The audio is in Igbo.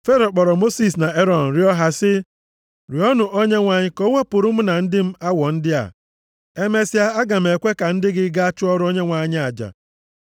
Fero kpọrọ Mosis na Erọn rịọọ ha sị, “Rịọọnụ Onyenwe anyị ka o wepụrụ mụ na ndị m awọ ndị a. Emesịa aga m ekwe ka ndị gị gaa chụọrọ Onyenwe anyị aja.”